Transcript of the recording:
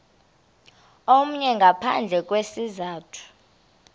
omnye ngaphandle kwesizathu